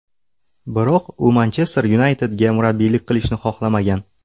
Biroq, u Manchester Yunaytedga murabbiylik qilishni xohlamagan.